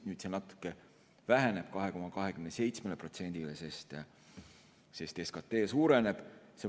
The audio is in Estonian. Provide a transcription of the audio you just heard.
Nüüd see natuke väheneb, 2,27%-le, sest SKT suureneb.